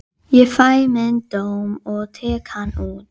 Það var einhver almennur sannleikur í þessu fólginn, hugsaði Valdimar.